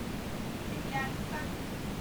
цимлянска